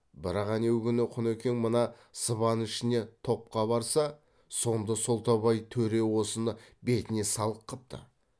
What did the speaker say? бірақ әнеугүні құнекең мына сыбан ішіне топқа барса сонда солтабай төре осыны бетіне салық қыпты